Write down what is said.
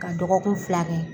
Ka dɔgɔkun fila kɛ.